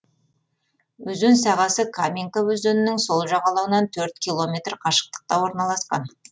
өзен сағасы каменка өзенінің сол жағалауынан төрт километр қашықтықта орналасқан